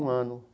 Um ano.